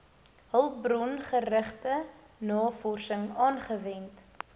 hulpbrongerigte navorsing aangewend